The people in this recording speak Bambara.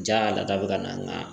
Ja lata bɛ ka na n ga